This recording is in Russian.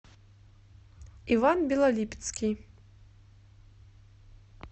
иван белолипецкий